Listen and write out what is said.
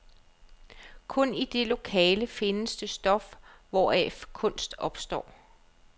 Kun i det lokale findes det stof, hvoraf kunst opstår.